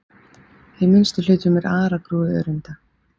Í minnstu hlutum er aragrúi öreinda.